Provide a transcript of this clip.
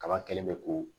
Kaba kɛlen bɛ ko